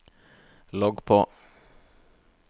logg på